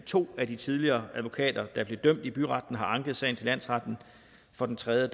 to af de tidligere advokater der blev dømt i byretten har anket sagen til landsretten for den tredje